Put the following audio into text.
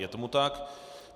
Je tomu tak.